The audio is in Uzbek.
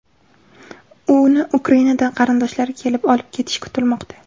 Uni Ukrainadan qarindoshlari kelib olib ketishi kutilmoqda.